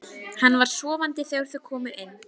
Hann var sofandi þegar þau komu inn.